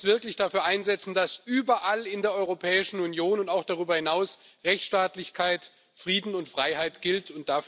Wir müssen uns wirklich dafür einsetzen, dass überall in der Europäischen Union auch darüber hinaus Rechtsstaatlichkeit, Frieden und Freiheit gelten.